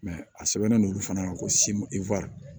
a sɛbɛnnen don olu fana na ko